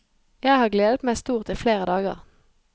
Jeg har gledet meg stort i flere dager.